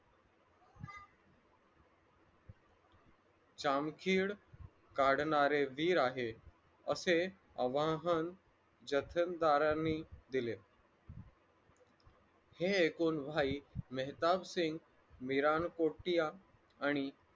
श्याम खेड काढणारे वीर आहे असे आवाहन जैसलदर्यानी दिले. हे ऐकून भाई मेहताबसिंग आणि मिरांकोठीया आणि